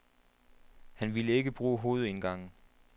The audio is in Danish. Han ville ikke bruge hovedindgangen.